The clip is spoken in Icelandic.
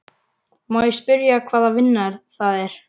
Má ég spyrja hvaða vinna það er?